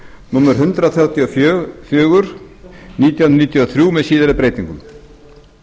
númer hundrað þrjátíu og fjögur nítján hundruð níutíu og þrjú með síðari breytingum